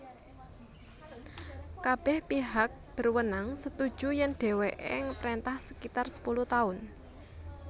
Kabeh pihak berwenang setuju yen deweke ngperintah sekitar sepuluh taun